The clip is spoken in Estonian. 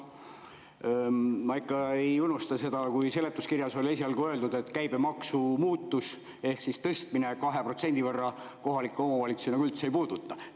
Ma ikka ei unusta seda, et seletuskirjas oli esialgu öeldud, et käibemaksu tõstmine 2% võrra kohalikke omavalitsusi enam üldse ei puuduta.